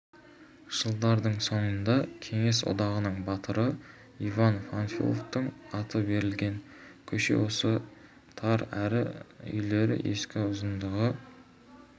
жылдардың соңында кеңес одағының батыры иван панфиловтың аты берілген көше осы тар әрі үйлері ескі ұзындығы